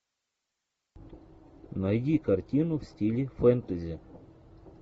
найди картину в стиле фэнтези